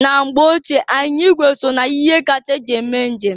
Na mgbe ochie, anyịnya ịgwe so na ihe akacha eji eme njem.